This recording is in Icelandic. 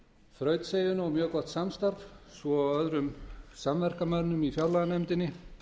þrautseigjuna og mjög gott samstarf svo og öðrum samverkamönnum í fjárlaganefndinni